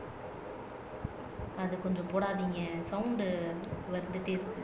அது கொஞ்சம் போடாதீங்க சவுண்ட் வந்துட்டே இருக்கு